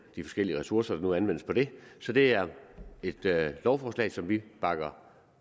de forskellige ressourcer der nu anvendes på det så det er et lovforslag som vi bakker